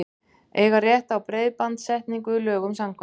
Eiga rétt á breiðbandstengingu lögum samkvæmt